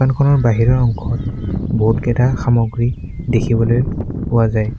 ফটোখনৰ বাহিৰৰ অংশত বহুতকেইটা সামগ্ৰী দেখিবলৈ পোৱা যায়।